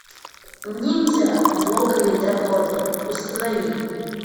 ниндзя в логове дракона установи